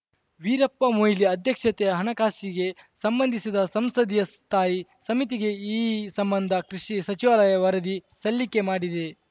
ವೀರಪ್ಪ ಮೊಯ್ಲಿ ಅಧ್ಯಕ್ಷತೆಯ ಹಣಕಾಸಿಗೆ ಸಂಬಂಧಿಸಿದ ಸಂಸದೀಯ ಸ್ಥಾಯಿ ಸಮಿತಿಗೆ ಈ ಸಂಬಂಧ ಕೃಷಿ ಸಚಿವಾಲಯ ವರದಿ ಸಲ್ಲಿಕೆ ಮಾಡಿದೆ